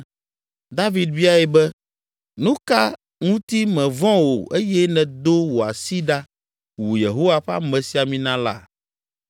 David biae be, “Nu ka ŋuti mèvɔ̃ o eye nèdo wò asi ɖa wu Yehowa ƒe amesiamina la?”